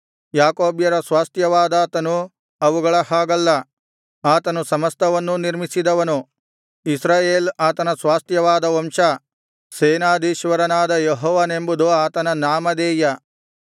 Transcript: ಯಾಕೋಬ್ಯರ ಸ್ವಾಸ್ತ್ಯವಾದಾತನು ಅವುಗಳ ಹಾಗಲ್ಲ ಆತನು ಸಮಸ್ತವನ್ನೂ ನಿರ್ಮಿಸಿದವನು ಇಸ್ರಾಯೇಲ್ ಆತನ ಸ್ವಾಸ್ತ್ಯವಾದ ವಂಶ ಸೇನಾಧೀಶ್ವರನಾದ ಯೆಹೋವನೆಂಬುದು ಆತನ ನಾಮಧೇಯ